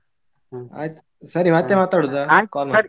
ಆಯ್ತು ಸರಿ ಮತ್ತೆ ಮಾತಾಡುದಾ